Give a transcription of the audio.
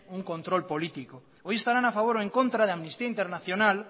un control político hoy estarán a favor o en contra de amnistía internacional